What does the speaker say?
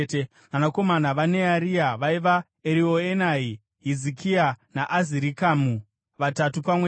Vanakomana vaNearia vaiva: Erioenai, Hizikia naAzirikamu, vatatu pamwe chete.